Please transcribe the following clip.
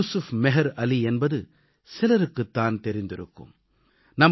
யூசுஃப் மெஹர் அலி என்பது சிலருக்குத் தான் தெரிந்திருக்கும்